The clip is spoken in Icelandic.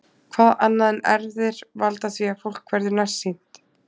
Hvað annað en erfðir valda því að fólk verður nærsýnt?